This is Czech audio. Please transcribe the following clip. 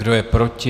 Kdo je proti?